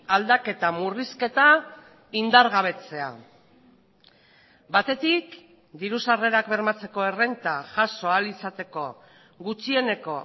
aldaketa murrizketa indargabetzea batetik diru sarrerak bermatzeko errenta jaso ahal izateko gutxieneko